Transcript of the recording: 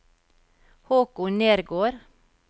Håkon Nergård